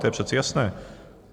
To je přece jasné.